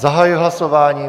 Zahajuji hlasování.